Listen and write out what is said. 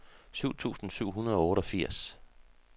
syv tusind syv hundrede og otteogfirs